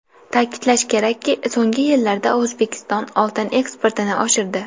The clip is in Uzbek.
Ta’kidlash kerakki, so‘nggi yillarda O‘zbekiston oltin eksportini oshirdi.